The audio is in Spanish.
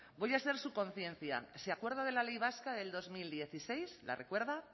voy a ser su conciencia se acuerda de la ley vasca del dos mil dieciséis la recuerda